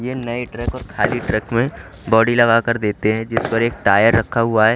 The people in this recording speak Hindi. ये नए ट्रक और खाली ट्रक में बॉडी लगा कर देते हैं जिस पर एक टायर रखा हुआ है।